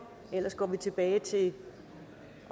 ellers går vi tilbage til